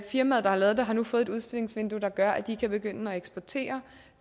firmaet der har lavet det har nu fået et udstillingsvindue der gør at de kan begynde at eksportere